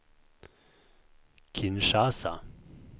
Kinshasa